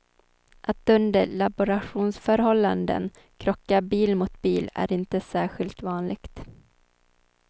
Att under laboratorieförhållanden krocka bil mot bil är inte särskilt vanligt.